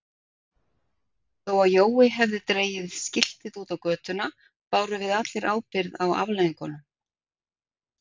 Þó að Jói hefði dregið skiltið út á götuna bárum við allir ábyrgð á afleiðingunum.